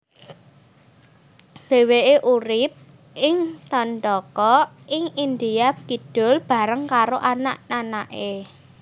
Dheweke urip ing Dandaka ing India Kidul bareng karo anak anake